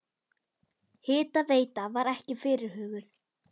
Hitaveita var ekki fyrirhuguð.